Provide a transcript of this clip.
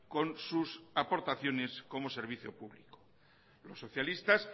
con sus aportaciones como servicio público los socialistas